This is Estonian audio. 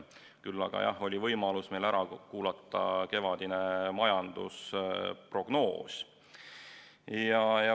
Küll aga, jah, oli võimalus ära kuulata kevadine majandusprognoos.